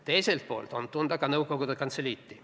Teiselt poolt on tunda nõukogude kantseliiti.